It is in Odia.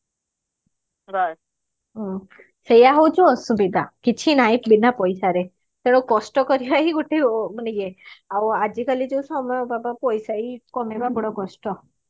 ହୁଁ ସେଇଆ ହଉଛି ଅସୁବିଧା କିଛି ନାହି ବିନା ପଇସା ରେ ତେଣୁ କଷ୍ଟ କରିବା ହିଁ ଗୋଟେ ମାନେ ଇଏ ଆଉ ଆଜିକାଲି ଯୋଉ ସମୟଟା ତ ପଇସା ହିଁ କମେଇବା ବଡ କଷ୍ଟ